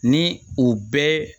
Ni u bɛɛ